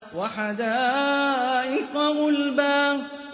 وَحَدَائِقَ غُلْبًا